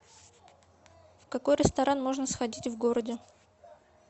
в какой ресторан можно сходить в городе